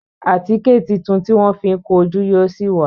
Àtíkè títún tí wón fi kún ojú yíò sí wá